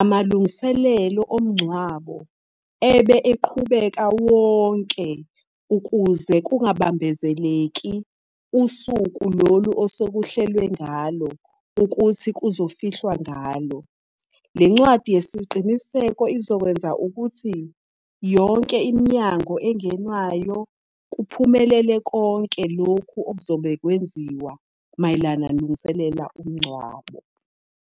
amalungiselelo omngcwabo ebe eqhubeka wonke ukuze kungabambezeleki usuku lolu osekuhlelwe ngalo ukuthi kuzofihlwa ngalo. Le ncwadi yesiqiniseko izokwenza ukuthi yonke iminyango engenwayo, kuphumelele konke lokhu okuzobe kwenziwa mayelana umngcwabo.